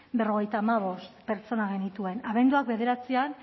berrogeita hamabost pertsona genituen abenduak bederatzian